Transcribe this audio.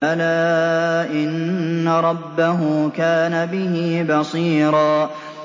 بَلَىٰ إِنَّ رَبَّهُ كَانَ بِهِ بَصِيرًا